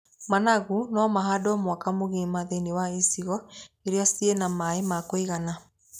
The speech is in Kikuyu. Managu no mahandwo mwaka mũgima thĩiniĩ wa icigo irĩa ci na maaĩ makũigana.